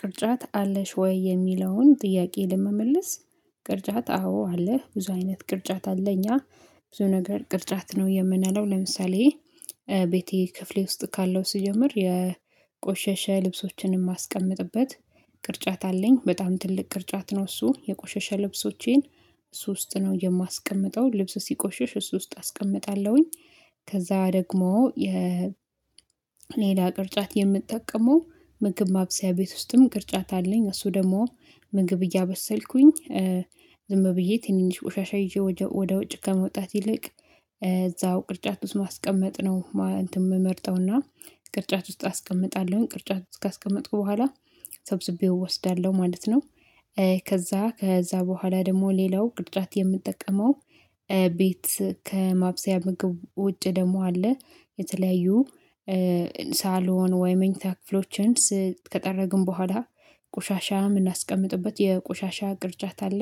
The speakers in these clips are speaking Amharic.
ቅርጫት አለሽ ወይ? የሚለውን ጥያቄ ለመመለስ ቅርጫት አዎ አለ ብዙ አይነት ቅርጫት አለ እኛ ብዙ ነገር ቅርጫት ነው የምንለው ለምሳሌ ቤቴ ክፍሌ ውስጥ ካለው ስጀምር የቆሸሸ ልብሶችንም ማስቀምጥበት ቅርጫት አለኝ በጣም ትልቅ ቅርጫት ነው እሱ የቆሸሸ ልብሶቼን እሱ ውስጥ ነው የማስቀምጠው ልብስ ሲቆሽሽ እሱ ውስጥ አስቀምጣለሁኝ። ከዛ ደግሞ የሌላ ቅርጫት የምጠቀመው ምግብ ማብሰያ ቤት ውስጥም ቅርጫት አለኝ እሱ ደግሞ ምግብ እያበሰልኩኝ ዝም ብዬ ትንንሽ ቆሻሻ ይዤ ወደ ውጭ ከመውጣት ይልቅ እዛው ቅርጫት ውስጥ ማስቀመጥ ነው እንትን የምመርጠውና ቅርጫት ውስጥ አስቀምጣለሁ ቅርጫት ውስጥ ካስቀመጥኩ ቦኋላ ሰብስቤው እወስዳለሁ ማለት ነው። ከዛ ከዛ ቦኋላ ደግሞ ሌላው ቅርጫት የምጠቀመው ቤት ከማብሰያ ምግብ ውጭ ደግሞ አለ የተለያዩ ሳሎን ወይ መኝታ ክፍሎችን ከጠረግን ቦኋላ ቆሻሻ የምናስቀምጥበት የቆሻሻ ቅርጫት አለ።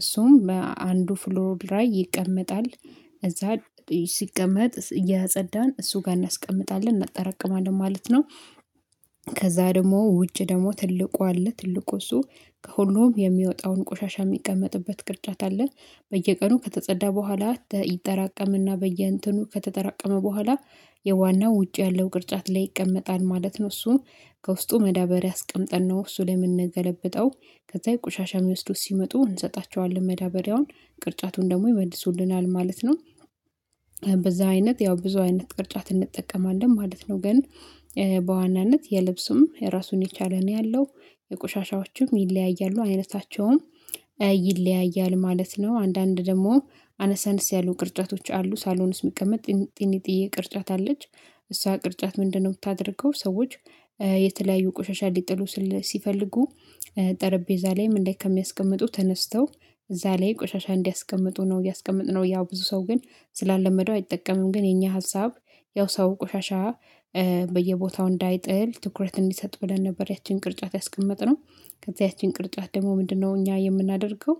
እሱም በአንዱ ፍሎር ላይ ይቀመጣል እዛ ሲቀመጥ እየጸዳን እሱ ጋር እናስቀምጣለን እናጠራቅማለን ማለት ነው። ከዛ ደግሞ ውጭ ደግሞ ትልቁ አለ ትልቁ እሱ ከሁሉም የሚወጣውን ቆሻሻ የሚቀመጥበት ቅርጫት አለ በየቀኑ ከተጸዳ ቦኋላ ይጠራቀምና በየእንትኑ ከተጠራቀመ ቦኋላ የዋናው ውጭ ያለው ቅርጫት ላይ ይቀመጣል ማለት ነው። እሱም ከውስጡ መዳበሪያ አስቀምጠን ነው እሱ ለምንገለብጠው ከዛ የቆሻሻ የሚወስዱት ሲመጡ እንሰጣቸዋለን መዳበሪያውን ቅርጫቱን ደግሞ ይመልሱልናል ማለት ነው። በዛ አይነት ያው ብዙ አይነት ቅርጫት እንጠቀማለን ማለት ነው ግን በዋናነት የልብስም የራሱን የቻለ ነው ያለው የቆሻሻዎችም ይለያያሉ አይነታቸውም ይለያያል ማለት ነው አንዳንድ ደግሞ አነስአነስ ያሉ ቅርጫቶች አሉ ሳሎን ዉስጥ የሚቀመጥ ጥን ጥንጥዬ ቅርጫት አለች እሷ ቅርጫት ምንድነው ምታደርገው ሰዎች የተለያዩ ቆሻሻ ሊጥሉ ሲፈልጉ ጠረጴዛ ላይም እንደዚህ ከሚያስቀምጡ ተነስተው እዛ ላይ ቆሻሻ እንዲያስቀምጡ ነው ያስቀመጥነው ያው ብዙ ሰው ግን ስላለመደው አይጠቀምም ግን የኛ ሀሳብ ያው ሰው ቆሻሻ በየቦታው እንዳይጥል ትኩረት እንዲሰጥ ብለን ነበር ያቺን ቅርጫት ያስቀመጥነው ከዛ ያቺን ቅርጣት ደግሞ ምንድነው እኛ የምናደርገው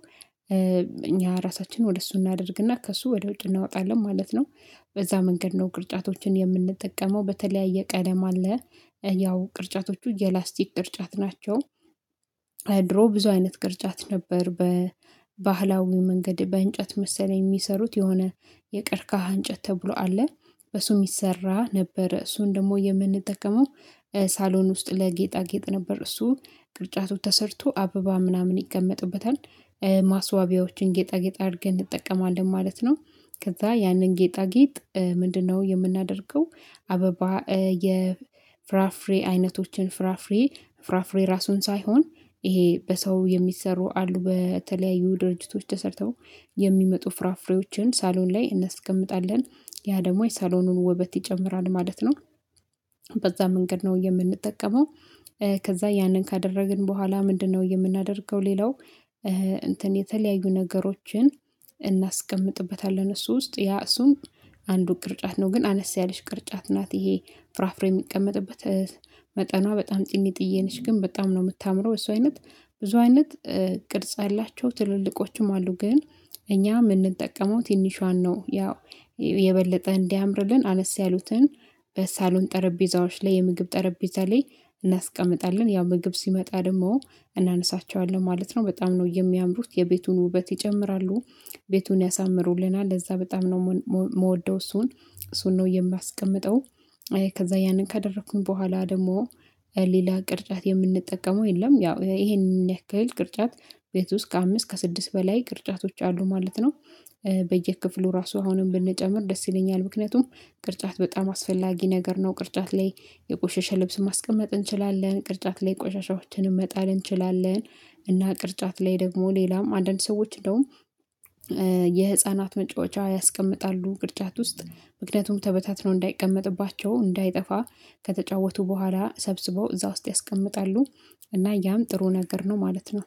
እኛ ራሳችንን ወደ እሱ እናደርግና ከእሱ ወደ ውድ እናወጣለን ማለት ነው። በዛ መንገድ ነው ቅርጫቶችን የምንጠቀመው በተለያየ ቀለም አለ ያው ቅርጫቶቹ የላስቲክ ድርጫት ናቸው። ድሮ ብዙ አይነት ቅርጫት ነበር በባህላዊ መንገድ በእንጨት መሰለኝ የሚሰሩት የሆነ የቀርካሃ እንጨት ተብሎ አለ በሱ የሚሰራ ነበር እሱን ደግሞ የምንጠቀመው ሳሎን ውስጥ ለጌጣ ጌጥ ነበር እሱ ቅርጫቱ ተሰርቶ አበባ ምናምን ይቀመጥበታል። ማስዋቢያዎችን ጌጣጌጥ አድርገን እንጠቀማለን ማለት ነው። ከዛ ያንን ጌጣጌጥ ምንድነው የምናደርገው አበባ የፍራፍሬ አይነቶችን ፍራፍሬ ፍራፍሬ ራሱን ሳይሆን ይሄ በሰው የሚሰሩ አሉ በተለያዩ ድርጅቶች ተሰርተው የሚመጡ ፍራፍሬዎችን ሳሎን ላይ እናስቀምጣለን ያ ደግሞ የሳሎኑን ወበት ይጨምራል ማለት ነው። በዛ መንገድ ነው የምንጠቀመው። ከዛ ያንን ካደረግን ቦኋላ ምንድነው የምናደርገው ሌላው እንትን የተለያዩ ነገሮችን እናስቀምጥበታለን እሱ ውስጥ ያ እሱም አንዱ ቅርጫት ነው ግን አነስ ያለሽ ቅርጫት ናት ይሄ ፍራፍሬ የሚቀመጥበት መጠኗ በጣም ጥንጥዬ ነች ግን በጣም ነው የምታምረው እሱ አይነት ብዙ አይነት ቅርጽ ያላቸው ትልልቆችም አሉ ግን እኛ የምንጠቀመው ትንሿን ነው ያው የበለጠ እንዲያምርልን አነስ ያሉትን በሳሎን ጠረጴዛዎች ላይ የምግብ ጠረጴዛ ላይ እናስቀምጣለን ያው ምግብ ሲመጣ ደግሞ እናነሳቸዋለን ማለት ነው። በጣም ነው የሚያምሩት የቤቱን ውበት ይጨምራሉ። ቤቱን ያሳምሩልናል ለዛ በጣም ነው የምወደው እሱን እሱን ነው የማስቀምጠው። ከዛ ያንን ከደረኩኝ ቦኋላ ደግሞ ሌላ ቅርጫት የምንጠቀመው የለም ያው ይሄንን ያክል ቅርጫት ቤት ውስጥ ከአምስት ከስድስት በላይ ቅርጫቶች አሉ ማለት ነው። በየክፍሉ ራሱ አሁንም ብንጨምር ደስ ይለኛል። ምክንያቱም ቅርጫት በጣም አስፈላጊ ነገር ነው ቅርጫት ላይ የቆሸሸ ልብስ ማስቀመጥ እንችላለን ቅርጫት ላይ ቆሻሻዎችን መጣል እንችላለን እና ቅርጫት ላይ ደግሞ ሌላም አንዳንድ ሰዎች እንደውም የህፃናት መጫወቻ ያስቀምጣሉ ቅርጫት ውስጥ ምክንያቱም ተበታትኖ እንዳይቀመጥባቸው እንዳይጠፋ ከተጫወቱ ቦኋላ ሰብስበው እዛ ውስጥ ያስቀምጣሉ። እና ያም ጥሩ ነገር ነው ማለት ነው።